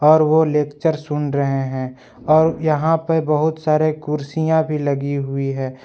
और वो लेक्चर सुन रहे है और यहां पे बहुत सारे कुर्सियां भी लगी हुई है।